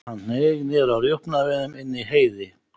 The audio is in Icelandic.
Hann hneig niður á rjúpnaveiðum inni í Heiði.